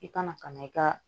I kana ka na i ka